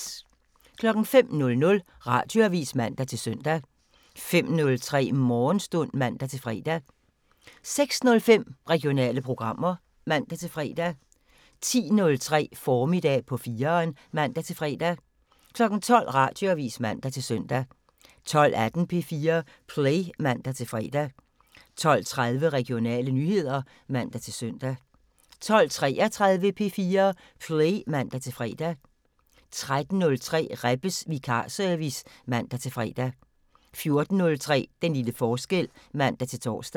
05:00: Radioavisen (man-søn) 05:03: Morgenstund (man-fre) 06:05: Regionale programmer (man-fre) 10:03: Formiddag på 4'eren (man-fre) 12:00: Radioavisen (man-søn) 12:18: P4 Play (man-fre) 12:30: Regionale nyheder (man-søn) 12:33: P4 Play (man-fre) 13:03: Rebbes Vikarservice (man-fre) 14:03: Den lille forskel (man-tor)